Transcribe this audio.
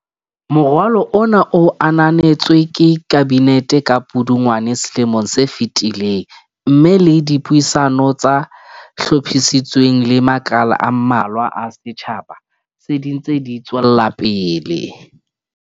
Moralo ona o ananetswe ke Kabinete ka Pudungwana selomong se fetileng mme le dipuisano tse hlophisitsweng le makala a mmalwa a setjha ba, se dintse di tswelapele.